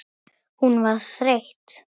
Hún var þreytt.